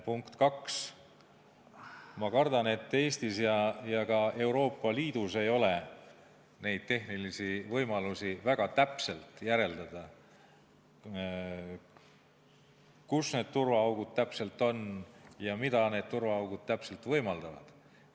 Punkt kaks, ma kardan, et ei Eestis ega ka mujal Euroopa Liidus pole selliseid tehnilisi võimalusi, et väga täpselt järeldada, kus need turvaaugud täpselt on ja mida need turvaaugud täpselt võimaldavad.